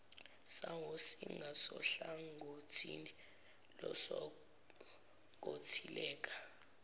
sawo zingasohlangothini losonkontileka